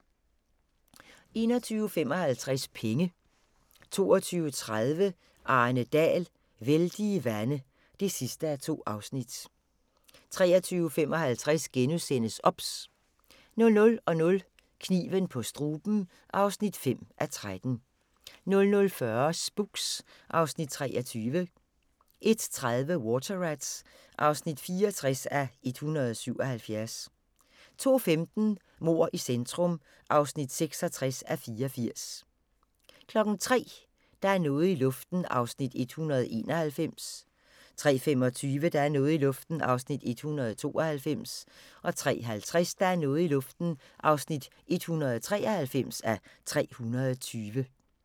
21:55: Penge 22:30: Arne Dahl: Vældige vande (2:2) 23:55: OBS * 00:00: Kniven på struben (5:13) 00:40: Spooks (Afs. 23) 01:30: Water Rats (64:177) 02:15: Mord i centrum (66:84) 03:00: Der er noget i luften (191:320) 03:25: Der er noget i luften (192:320) 03:50: Der er noget i luften (193:320)